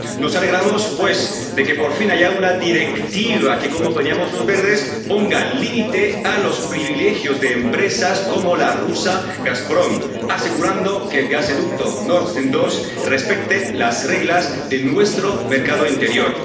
Nos alegramos, pues, de que por fin haya una directiva que, como pedíamos los Verdes, ponga límite a los privilegios de empresas como la rusa Gazprom, asegurando que el gasoducto Nord Stream 2 respete las reglas de nuestro mercado interior.